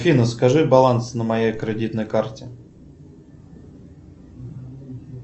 афина скажи баланс на моей кредитной карте